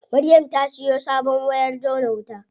Maryam ta siyo sabon wayar jona wuta.